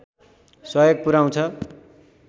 सहयोग पुर्‍याउँछ